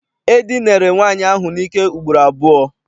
E dinere nwaanyị ahụ n'ike ugboro abụọ.